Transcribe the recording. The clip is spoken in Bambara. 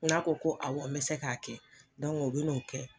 N'a ko ko awɔ bɛ se ka kɛ u be n'o kɛ.